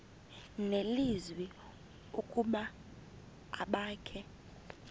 nelizwi ukuba abakhe